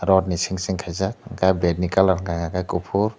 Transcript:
rotni seng seng khaijak tei bat ni colour khe kuphur.